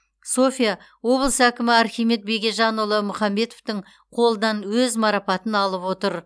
софия облыс әкімі архимед бегежанұлы мұхамбетовтің қолынан өз марапатын алып отыр